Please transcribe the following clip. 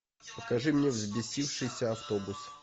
покажи мне взбесившийся автобус